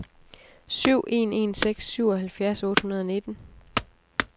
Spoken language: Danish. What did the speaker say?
syv en en seks syvoghalvfjerds otte hundrede og nitten